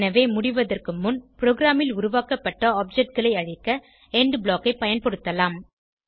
எனவே முடிவதற்கு முன் ப்ரோகிராமில் உருவாக்கப்பட்ட objectகளை அழிக்க எண்ட் ப்ளாக் ஐ பயன்படுத்தலாம்